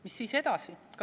Mis siis edasi?